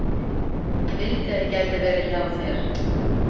Ég vildi að ég gæti verið hjá þér.